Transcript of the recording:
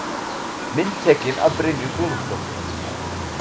Mynd tekin af Brynju Guðmundsdóttur.